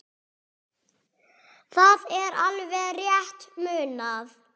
Það er alveg rétt munað.